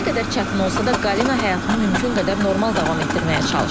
Nə qədər çətin olsa da, Qalina həyatını mümkün qədər normal davam etdirməyə çalışır.